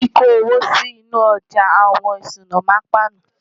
kí kò owó sí inú ojà àwọn ìṣúná má ń pana